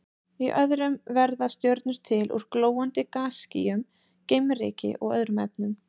Í öðrum verða stjörnur til úr glóandi gasskýjum, geimryki og öðrum efnum.